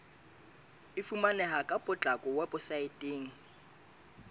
e fumaneha ka potlako weposaeteng